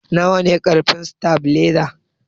Nawane karfin satabiliza?